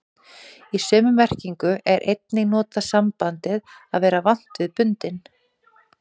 Í sömu merkingu er einnig notað sambandið að vera vant við bundinn.